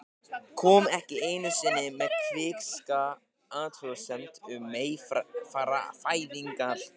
Kom ekki einu sinni með kvikinska athugasemd um meyfæðingar.